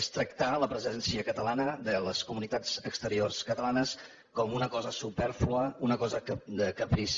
és tractar la presència catalana de les comunitats exteriors catalanes com una cosa supèrflua una cosa de caprici